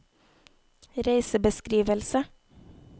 reisebeskrivelse